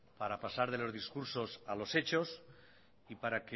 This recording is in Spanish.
para pasar de los discursos a los hechos y para